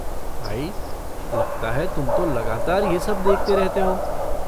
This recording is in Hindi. भाई, लगता है तुम तो लगातार यह सब देखते रहते हो।